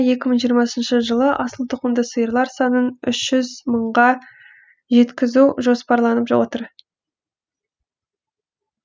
екі мың жиырмасыншы жылы асылтұқымды сиырлар санын үш жүз мыңға жеткізу жоспарланып отыр